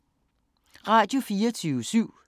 Radio24syv